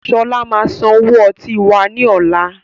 Sọlá máa san owó ọtí wá ní ọ̀la.